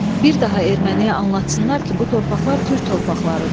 Bir daha erməniyə anlatsınlar ki, bu torpaqlar türk torpaqlarıdır.